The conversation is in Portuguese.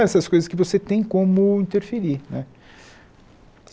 Essas coisas que você tem como interferir né.